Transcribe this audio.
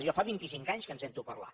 jo fa vint i cinc anys que en sento parlar